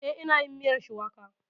Eh, ina yin miyar shuwaka